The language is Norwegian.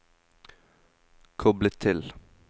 koble til